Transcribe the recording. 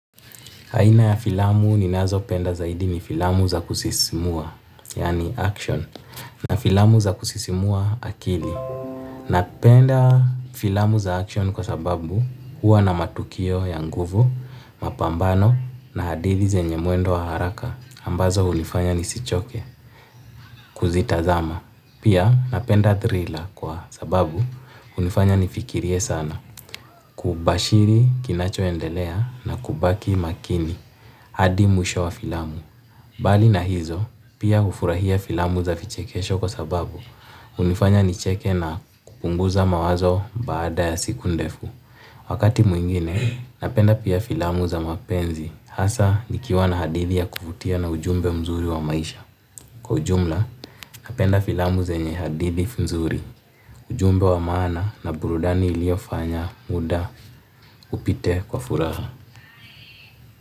Aina ya filamu ninazopenda zaidi ni filamu za kusisimua, yani action, na filamu za kusisimua akili. Napenda filamu za action kwa sababu huwa na matukio ya nguvu, mapambano na adili zenye mwendo wa haraka ambazo hunifanya nisichoke kuzitazama. Pia napenda thriller kwa sababu hunifanya nifikirie sana kubashiri kinachoendelea na kubaki makini hadi mwisho wa filamu. Bali na hizo pia ufurahia filamu za vichekesho kwa sababu hunifanya nicheke na kupunguza mawazo baada ya siku ndefu. Wakati mwingine napenda pia filamu za mapenzi hasa nikiwa na hadithi ya kuvutia na ujumbe mzuri wa maisha. Kwa ujumla, napenda filamu zenye hadithi mzuri, ujumbe wa maana na burudani iliyofanya muda upite kwa furaha.